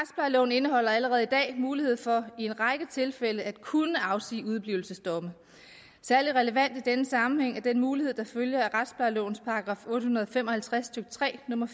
indeholder allerede i dag mulighed for i en række tilfælde at kunne afsige udeblivelsesdomme særlig relevant i den sammenhæng er den mulighed der følger af retsplejelovens § otte hundrede og fem og halvtreds stykke tre nummer